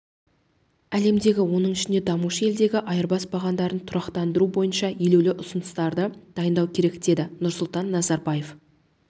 әлемдегі оның ішінде дамушы елдердегі айырбас бағамдарын тұрақтандыру бойынша елеулі ұсыныстарды дайындау керек деді нұрсұлтан назарбаев